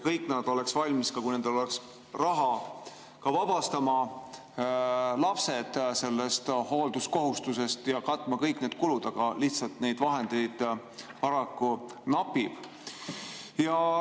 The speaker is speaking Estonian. Kõik nad oleks valmis, kui nendel oleks raha, ka vabastama lapsi sellest hoolduskohustusest ja katma kõik need kulud, aga lihtsalt neid vahendeid paraku napib.